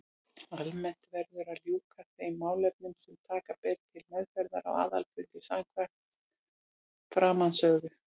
Almennt verður að ljúka þeim málefnum sem taka ber til meðferðar á aðalfundi samkvæmt framansögðu.